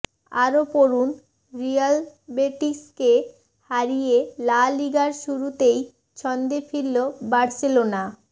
আরও পড়ুন রিয়াল বেটিসকে হারিয়ে লা লিগার শুরুতেই ছন্দে ফিরল বার্সেলোনা